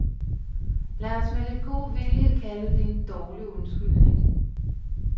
Lad os med lidt god vilje kalde det en dårlig undskyldning.